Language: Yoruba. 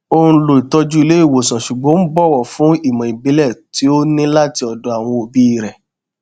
ó n lo ìtọjú ilé ìwòsàn ṣùgbọn ó bọwọ fún ìmọ ìbílẹ tí ó ní láti ọdọ àwọn òbí rẹ